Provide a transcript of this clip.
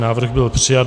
Návrh byl přijat.